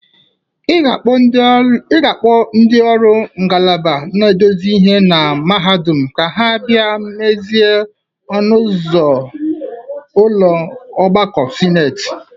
Ị ga-akpọ ndị ọrụ ngalaba na-edozie ihe na mahadum ka ha bia mezie ọnụ ụzọ ụlọ ọgbakọ sineti